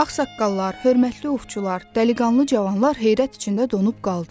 Ağsaqqallar, hörmətli ovçular, dəliqanlı cavanlar heyrət içində donub qaldılar.